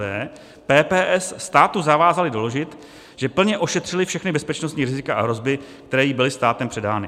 d) PPS státu zavázaly doložit, že plně ošetřily všechna bezpečnostní rizika a hrozby, které jim byly státem předány.